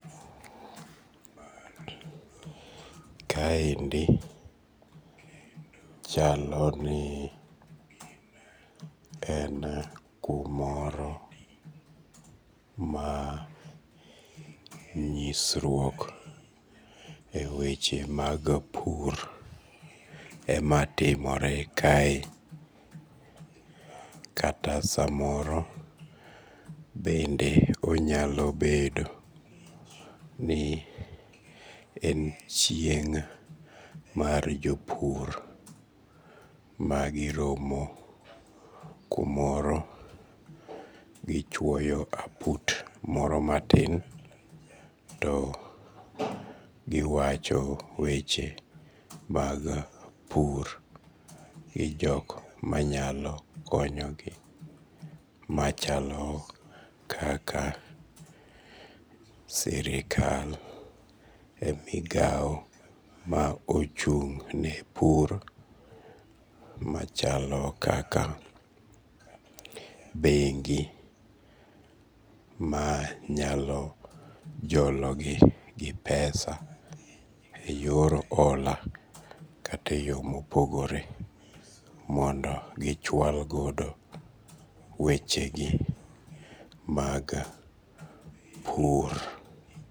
Ka endi chaloni en kumoro ma nyisruok e weche mag pur ema timore kae. Kata samoro bende onyalobedo ni en chieng' mar jopur ma giromo kumoro, gichuoyo aput moro matin to giwacho weche mag pur gi jok manyalo konyogi machalo kaka sirikal e migao ma ochung'ne pur machalo kaka bengi manyalo jologi gi pesa e yor ola kata e yoo mopogore mondo gichual godo wechegi mag pur.